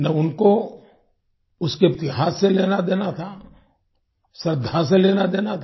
न उनको उसके इतिहास से लेना देना था श्रद्धा से लेना देना था